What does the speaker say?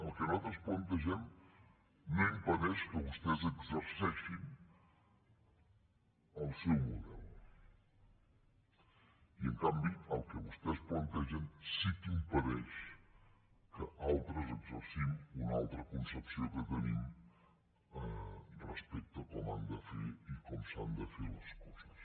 el que nosaltres plantegem no impedeix que vostès exerceixin el seu model i en canvi el que vostès plantegen sí que impedeix que altres exercim una altra concepció que tenim respecte a com han de ser i com s’han de fer les coses